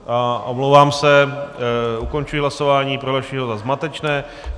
Omlouvám se, ukončuji hlasování, prohlašuji ho za zmatečné.